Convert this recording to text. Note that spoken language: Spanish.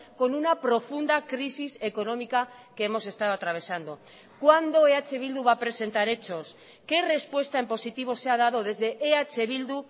con una profunda crisis económica que hemos estado atravesando cuándo eh bildu va a presentar hechos qué respuesta en positivo se ha dado desde eh bildu